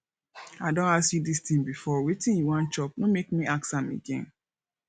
i don ask you dis thing before wetin you wan chop no make me ask am again